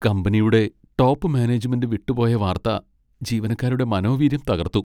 കമ്പനിയുടെ top management വിട്ടുപോയ വാർത്ത ജീവനക്കാരുടെ മനോവീര്യം തകർത്തു.